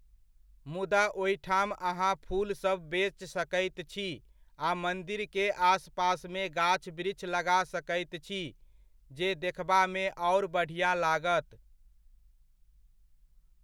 मुदा ओहिठाम अहाँ फूलसभ बेच सकैत छी आ मन्दिरके आसपासमे गाछ वृछ लगा सकैत छी, जे देखबामे आओर बढिआँ लागत।